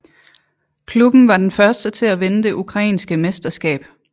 Klubben var den første til at vinde det ukrainske mesterskab